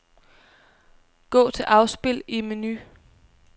Gå til afspil i menu.